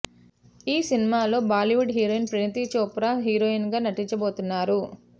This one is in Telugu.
ఈ సినిమా లో Bollywood heroine Parineeti Chopra heroine గా నటించబోతున్నారు